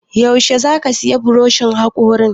Yaushe zaka sayi buroshin haƙorin?